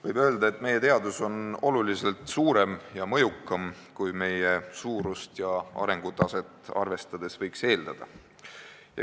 Võib öelda, et meie teadus on oluliselt suurem ja mõjukam, kui meie riigi suurust ja arengutaset arvestades võiks eeldada.